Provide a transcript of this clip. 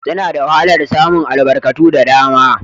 Suna da wahalar samun albarkatu da dama